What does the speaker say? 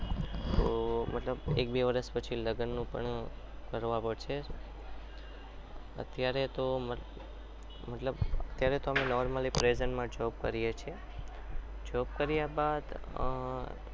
તો મતલબ એક બે વર્ષ પછી લગ્નનું પણ કરવા પડશે અત્યારે તો મતલબ normally present માં job કરીએ છીએ job કર્યા બાદ